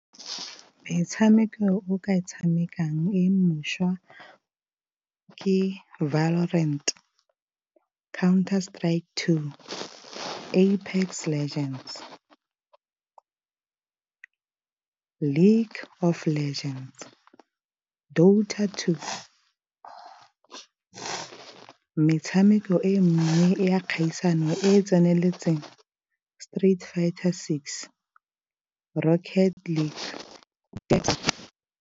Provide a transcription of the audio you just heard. Ke metshameko o ka e tshamekang e mošwa ke , Counter-Strike 2, Apex Legends, League of Legends, . Metshameko e mengwe ya kgaisano e e tseneletseng Street Fighter 6, Rocket League .